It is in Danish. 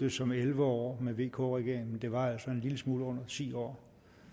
det som elleve år med vk regeringen det var altså en lille smule under ti år